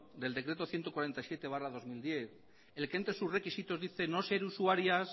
del decreto ciento cuarenta y siete barra dos mil diez el que entre sus requisitos dice no ser usuarias